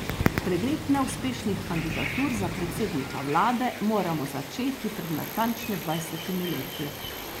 Pregled neuspešnih kandidatur za predsednika vlade moramo začeti pred natančno dvajsetimi leti.